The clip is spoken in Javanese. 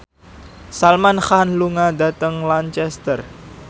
Salman Khan lunga dhateng Lancaster